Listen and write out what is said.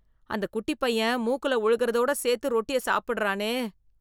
அந்த குட்டிப் பையன், மூக்குல ஒழுகறதோட சேத்து ரொட்டிய சாப்புடுறானே...